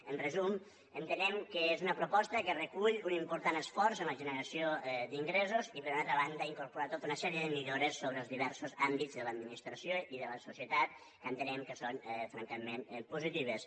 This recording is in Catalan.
en resum entenem que és una proposta que recull un important esforç en la generació d’ingressos i per una altra banda incorpora tota una sèrie de millores sobre els diversos àmbits de l’administració i de la societat que entenem que són francament positives